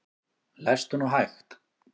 Lestu nú hægt!